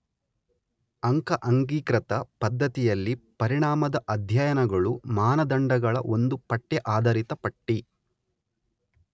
ಅಂಕ ಅಂಗೀಕೃತ ಪದ್ಧತಿಯಲ್ಲಿ ಪರಿಣಾಮದ ಅಧ್ಯಯನಗಳು ಮಾನದಂಡಗಳ ಒಂದು ಪಠ್ಯ ಆಧರಿತ ಪಟ್ಟಿ